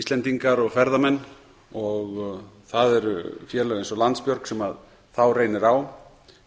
íslendingar og ferðamenn og það eru félög eins og landsbjörg sem þá reynir á